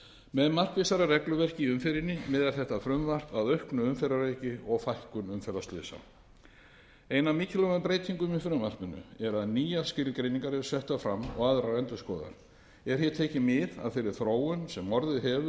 með markvissara regluverki í umferðinni miðar þetta frumvarp að auknu umferðaröryggi og fækkun umferðarslysa ein af mikilvægum breytingunum í frumvarpinu er að nýjar skilgreiningar eru settar fram og aðrar endurskoðaðar er hér tekið mið af þeirri þróun sem orðið hefur í